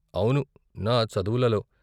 అవును, నా చదువులలో.